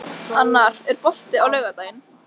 Annar, er bolti á laugardaginn?